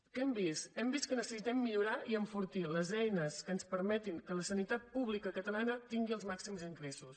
què hem vist hem vist que necessitem millorar i enfortir les eines que ens permetin que la sanitat pública catalana tingui els màxims ingressos